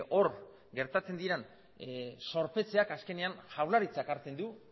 hor gertatzen diren zorpetzeak azkenean jaurlaritzak hartzen du